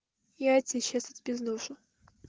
я тебя сейчас отпизжу